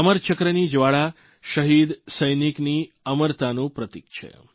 અમરચક્રની જવાળા શહીદ સૈનિકની અમરતાનું પ્રતિક છે